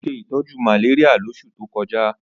Ó ṣe ìtọ́jú malaria lóṣù tó kọjá